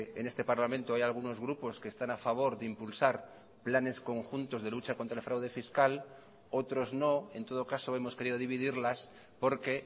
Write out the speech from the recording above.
en este parlamento hay algunos grupos que están a favor de impulsar planes conjuntos de lucha contra el fraude fiscal otros no en todo caso hemos querido dividirlas porque